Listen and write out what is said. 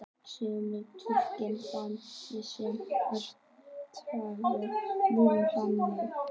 Sumir túlka þann atburð sem kraftaverk Múhameðs.